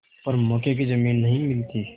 पर मौके की जमीन नहीं मिलती